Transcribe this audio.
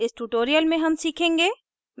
इस tutorial में हम सीखेंगे